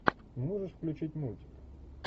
можешь включить мультик